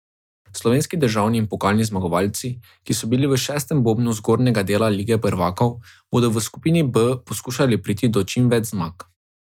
Slovenski državni in pokalni zmagovalci, ki so bili v šestem bobnu zgornjega dela Lige prvakov, bodo v skupini B skušali priti do čim več zmag.